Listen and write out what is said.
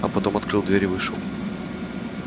а потом открыл дверь и вышел